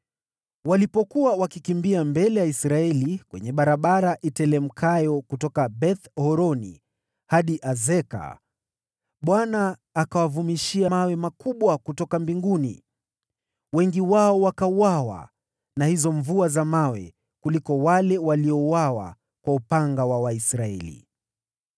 Walipokuwa wakikimbia mbele ya Israeli kwenye barabara iteremkayo kutoka Beth-Horoni hadi Azeka, Bwana akawavumishia mawe makubwa ya mvua kutoka mbinguni, na wengi wao wakauawa na hayo mawe kuliko wale waliouawa kwa upanga wa Waisraeli.